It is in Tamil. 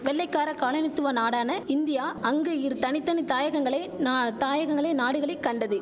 வெள்ளைக்கார காலனித்துவ நாடான இந்தியா அங்கு இரு தனி தனி தாயகங்களை நா தாயகங்களை நாடுகளை கண்டது